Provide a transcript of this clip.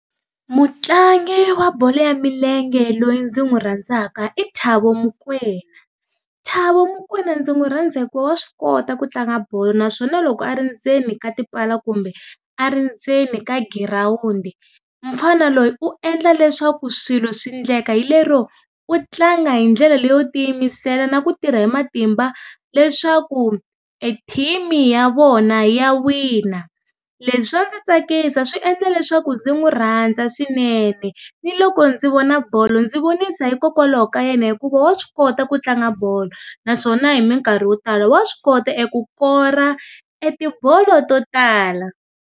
Mutlangi wa bolo ya milenge loyi ndzi n'wi rhandzaka i Thabo Mokoena. Thabo Mokoena ndzi n'wi rhandza hikuva wa swi kota ku tlanga bolo naswona loko ndzeni ka tipala kumbe a ri ndzeni ka girawundi, mufana loyi, u endla leswaku swilo swi endleka hi lero, u tlanga hi ndlela leyo tiyimisela na ku tirha hi matimba leswaku e-team-i ya vona ya wina. Leswi swa ndzi tsakisa swi endla leswaku ndzi n'wi rhandza swinene, ni loko ndzi vona bolo ndzi vonisa hikokwalaho ka yena hikuva wa swi kota ku tlanga bolo, naswona hi mikarhi yo tala wa swi kota eku kora etibolo to tala.